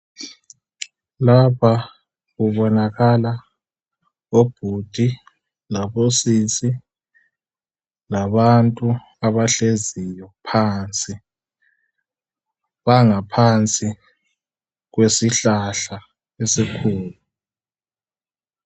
Lapha kubonakala obhudi labosisi labantu abahleziyo phansi. Bangaphansi kwesihlahla esikhulu.